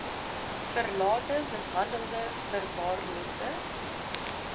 verlate mishandelde verwaarloosde